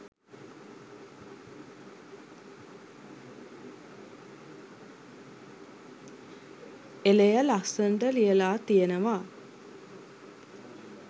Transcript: එලය ලස්සනට ලියලා තියෙනවා